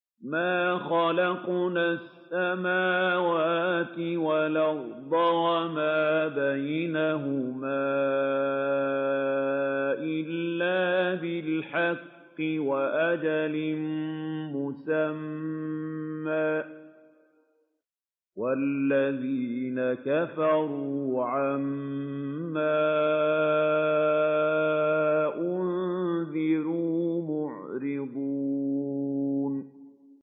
مَا خَلَقْنَا السَّمَاوَاتِ وَالْأَرْضَ وَمَا بَيْنَهُمَا إِلَّا بِالْحَقِّ وَأَجَلٍ مُّسَمًّى ۚ وَالَّذِينَ كَفَرُوا عَمَّا أُنذِرُوا مُعْرِضُونَ